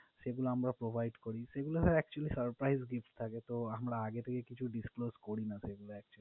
সেগুলো আমরা provide করি, সেগুলো হয় actually surprise gift থাকে তো আমরা আগে থেকে কিছু disclose করিনা সেগুলো।